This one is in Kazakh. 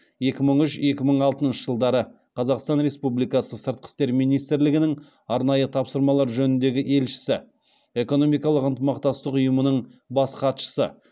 екі мың үш екі мың алтыншы жылдары қазақстан республикасы сыртқы істер министрлігінің арнайы тапсырмалар жөніндегі елшісі экономикалық ынтымақтастық ұйымының бас хатшысы